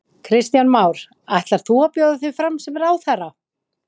Kristján Már: Ætlarðu að bjóða þig fram sem ráðherra?